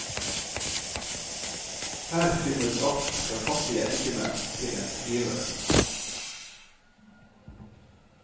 Her finnes alt fra fattige enkemenn til en skriver.